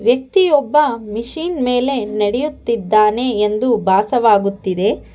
ವ್ಯಕ್ತಿ ಒಬ್ಬ ಮಿಷಿನ್ ಮೇಲೆ ನಡೆಯುತ್ತಿದ್ದಾನೆ ಎಂದು ಭಾಸವಾಗುತ್ತಿದೆ.